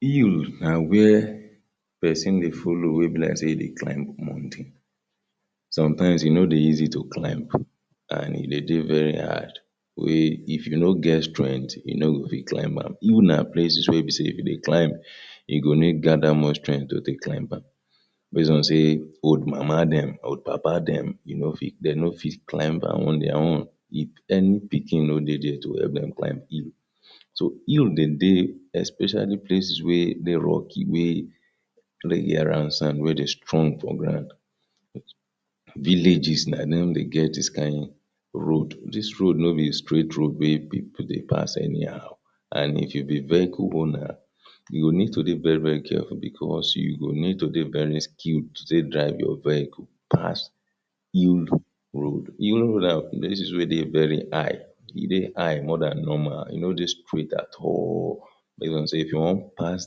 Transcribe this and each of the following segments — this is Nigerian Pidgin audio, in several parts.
Hills na where person dey follow wey be like say e dey climb mountain. Sometimes e no dey easy to climb and e dey dey very hard wey if you no get strength you no go fit climb am. Hill na places wey be say if you dey climb you go need gather much strength to take climb am based on say old mama dem old papa dem you no fit dey no fit climb am on their own if any pikin no dey there to help dem climb hill. So hill dem dey especially places where dey rocky wey sand wey strong for ground. Villages na dem dey get this kain road. Dis road no be straight road wey people dey pass anyhow and if you be vehicle owner, you go need to dey very very careful because you go need to dey very skilled to take drive your vehicle pass hill road. Hill na places wey dey very high, e dey high more dan normal, e no dey straight at all based on say if you wan pass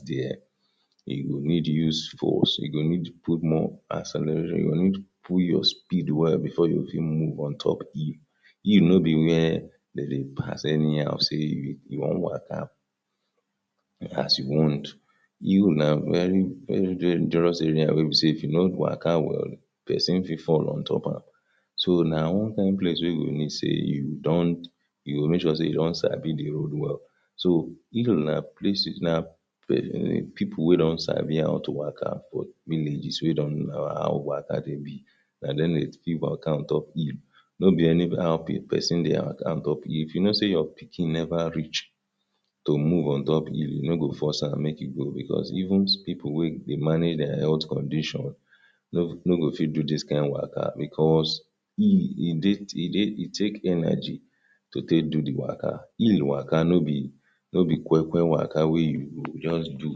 there, you go need use force. You go need put more accelera, you go need put your speed well before you fit move on top of hill. Hill no be where dem dey pass anyhow say you wan waka as you want. Hill na very very dangerous area wey be say if you no waka well person fit fall on top am. So na one kain place wey go need say you don't you go make sure say you don sabi the road well. So hill na places na people wey don sabi how to waka for villages wey don know how waka dey be. Na dem dey fit waka on top hill. No be anyhow person dey waka on top hill. If you know say your pikin never reach to move on top hill, you no go force am make e go because even people wey dey manage their health condition no no go fit do dis kain waka because hill, e dey e take energy to take do the waka. Hill waka no be no be kwekwe waka wey you go just do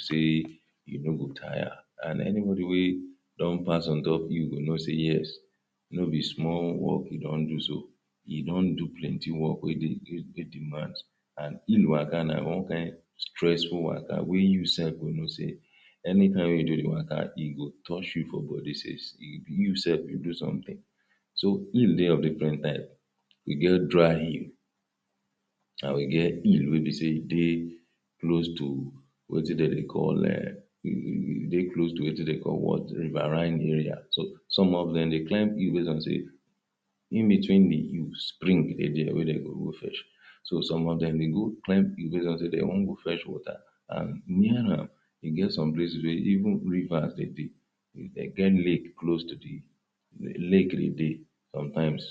say you no go tire and anybody wey don pass on top hill go know say yes no be small work e don do so. E don do plenty work wey dey take demand and hill waka na one kain stressful waka wey you sef go know say anytime wey you do the waka e go touch you for body sef you sef you do something. So hill dey of different type. E get dry hill and we get hill wey be say e dey close to wetin dem dey call um e dey close to wetin dem dey call what riverine area. So some of dem dey climb hill base of say in-between the hills springs dey their wey dem go go fetch. So some of dem dey go climb hill base on say dey wan go fetch water and e get some places wey even rivers dem dey dey get lake close to the lake dem dey sometimes.